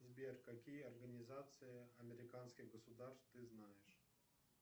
сбер какие организации американских государств ты знаешь